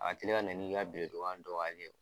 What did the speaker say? A na n'i bileniba in don ka lajɛ